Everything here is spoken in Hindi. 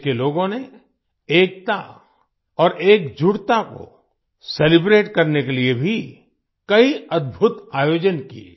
देश के लोगों ने एकता और एकजुटता को सेलिब्रेट करने के लिए भी कई अद्भुत आयोजन किए